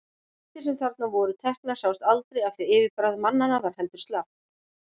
Myndir sem þarna voru teknar sáust aldrei af því yfirbragð manna var heldur slappt.